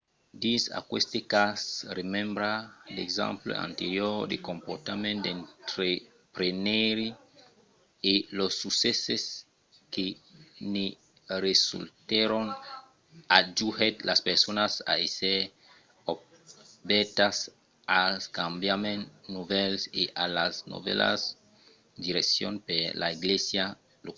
dins aqueste cas remembrar d'exemples anteriors de comportament d'entrepreneire e los succèsses que ne resultèron ajudèt las personas a èsser obèrtas als cambiaments novèls e a las novèlas direccions per la glèisa locala